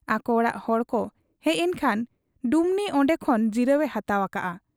ᱟᱠᱚ ᱚᱲᱟᱜ ᱦᱚᱲᱠᱚ ᱦᱮᱡ ᱮᱱ ᱠᱷᱟᱱ ᱰᱩᱢᱱᱤ ᱚᱱᱰᱮ ᱠᱷᱚᱱ ᱡᱤᱨᱟᱹᱣ ᱮ ᱦᱟᱛᱟᱣ ᱟᱠᱟᱜ ᱟ ᱾